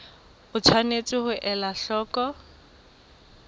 o tshwanetse ho ela hloko